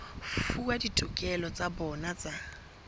fuwa ditokelo tsa bona tsa